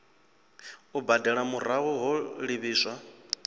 u badela murahu ho livhiswa